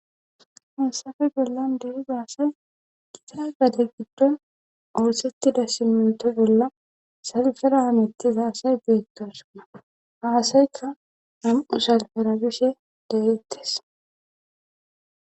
Hassafe bollan dehiga asay gita gade giddon oossettida simento bolla salfera hamittiza asay beettosonna haasaykka nam'u salferabishe de'ettes